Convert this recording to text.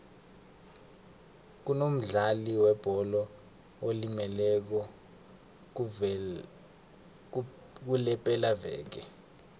kunomdlali webholo olimeleko kulepelaveke